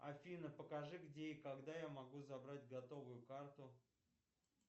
афина покажи где и когда я могу забрать готовую карту